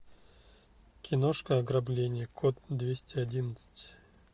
киношка ограбление код двести одиннадцать